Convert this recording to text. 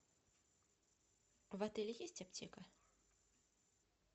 в отеле есть аптека